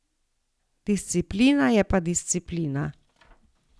Disciplina je pa disciplina.